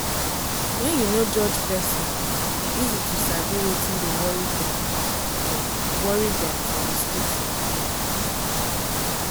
wen you no judge person e easy to sabi wetin dey worry dem for worry dem for hospital.